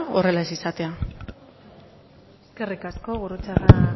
horrela ez izatea eskerrik asko gurrutxaga